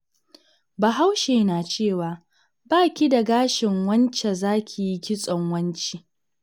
Bahaushe na cewa, 'ba ki da gashin wance za ki yi kitson wance?'